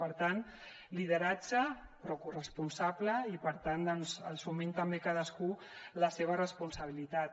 per tant lideratge però corresponsable i per tant doncs assumint també cadascú la seva responsabilitat